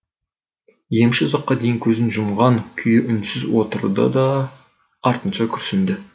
емші ұзаққа дейін көзін жұмған күйі үнсіз отырды да артынша күрсінді